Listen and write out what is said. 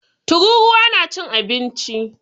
Tururuwa na cin abinci.